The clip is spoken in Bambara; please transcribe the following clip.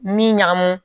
Min ɲagamu